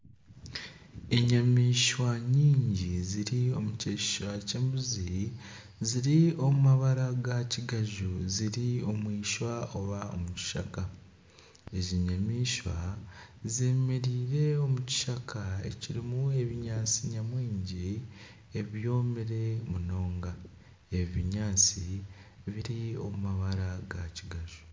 Enyamaishwa nyingi ziri omu kyeshusha ky'embuzi ziri omu mabara ga kiganju ziri omwishwa oba omu kishaka ezi nyamaishwa zemereire omu kishaka ekirimu ebinyaatsi nyamwingi ebyomire munonga ebi binyaatsi biri omu mabara ga kiganju.